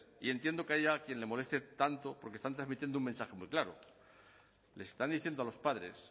y entiendo que haya a quien le moleste tanto porque están transmitiendo un mensaje muy claro les están diciendo a los padres